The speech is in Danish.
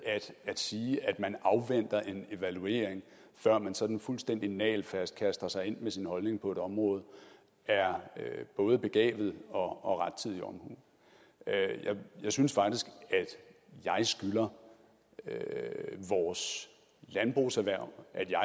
at sige at man afventer en evaluering før man sådan fuldstændig nagelfast kaster sig ind med sin holdning på et område er både begavet og udtryk for rettidig omhu jeg synes faktisk at jeg skylder vores landbrugserhverv